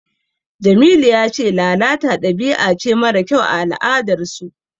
Jamilu ya ce lalata dabi'a ce mara kyau a al'adarsu.